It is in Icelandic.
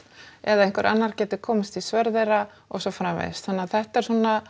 eða að einhver annar geti komist í svör þeirra og svo framvegis þannig að þetta er svona